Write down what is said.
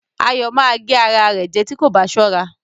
Ayọ̀ ma gé ara rẹ̀ jẹ́ tí kò bá sọra